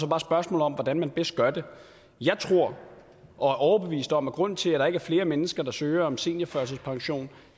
bare spørgsmålet om hvordan man bedst gør det jeg tror og er overbevist om at grunden til at der ikke er flere mennesker der søger om seniorførtidspension